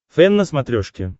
фэн на смотрешке